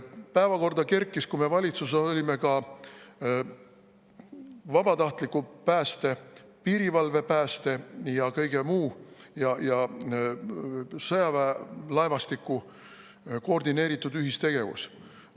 Päevakorda kerkis, kui me valitsuses olime, ka vabatahtliku pääste, piirivalvepääste ja sõjaväelaevastiku koordineeritud ühistegevus.